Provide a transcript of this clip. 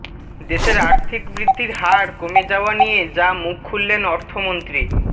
দেশের আর্থিক বৃদ্ধির হার কমে যাওয়া নিয়ে যা মুখ খুললেন অর্থমন্ত্রী